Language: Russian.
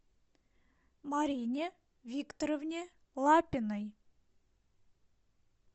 марине викторовне лапиной